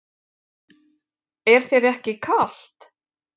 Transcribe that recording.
Er þér ekki kalt?